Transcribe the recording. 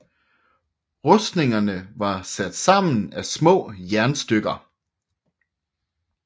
Rustningerne var sat sammen af små jernstykker